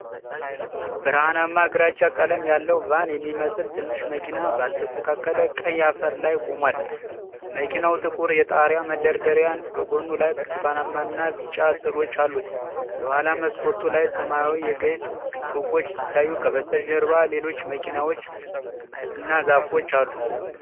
ብርሃናማ ግራጫ ቀለም ያለው ቫን የሚመስል ትንሽ መኪና ባልተስተካከለ ቀይ አፈር ላይ ቆሟል። መኪናው ጥቁር የጣሪያ መደርደሪያና በጎኑ ላይ ብርቱካናማና ቢጫ ስዕሎች አሉት። የኋላ መስኮቱ ላይ ሰማያዊ የጌጥ ጽሑፎች ሲታዩ፣ ከበስተጀርባ ሌሎች መኪናዎችና ዛፎች አሉ።